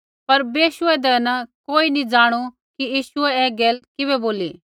पर बेशू होंदै न कोइयै नी ज़ाणू कि यीशुऐ ऐ गैल किबै बोली